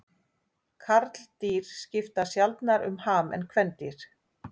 Karldýr skipta sjaldnar um ham en kvendýr.